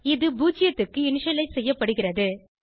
இது 0 க்கு இனிஷியலைஸ் செய்யப்படுகிறது